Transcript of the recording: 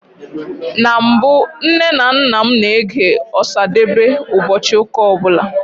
Na mbụ, Nne na nna m na-ege Ọsadebe ụbọchị ụka ọbụla